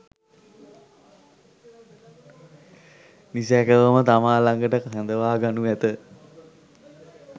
නිසැකවම තමා ලඟට කැඳවා ගනු ඇත.